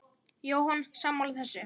Jóhann: Sammála þessu?